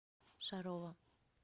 шарова